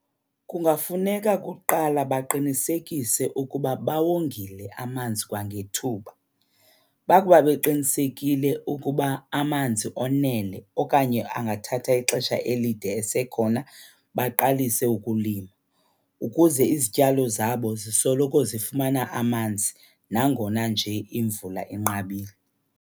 Kungafuneka kuqala baqinisekise ukuba bawongile amanzi kwangethuba. Bakuba beqinisekile ukuba amanzi onele okanye angathatha ixesha elide esekhona, baqalise ukulima ukuze izityalo zabo zisoloko zifumana amanzi nangona nje imvula inqabile.